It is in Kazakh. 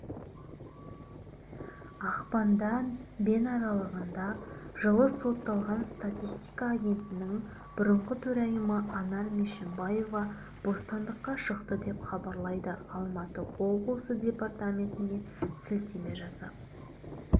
ақпанда бен аралығында жылы сотталған статистика агенттігінің бұрынғы төрайымы анар мешімбаева бостандыққа шықты деп хабарлайды алматы облысы департаментіне сілтеме жасап